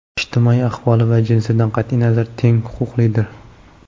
ijtimoiy ahvoli va jinsidan qat’iy nazar teng huquqlidir.